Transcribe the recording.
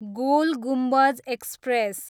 goal Gumbaz express